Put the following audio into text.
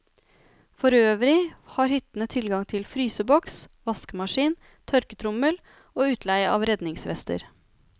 Forøvrig har hyttene tilgang til fryseboks, vaskemaskin, tørketrommel og utleie av redningsvester.